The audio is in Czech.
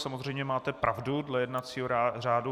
Samozřejmě máte pravdu dle jednacího řádu.